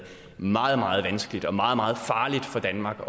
meget meget vanskeligt og meget meget farligt for danmark